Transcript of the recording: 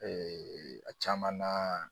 a caman na